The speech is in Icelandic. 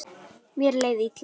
Mér leið illa.